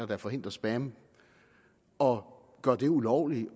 der forhindrer spam og gør det ulovligt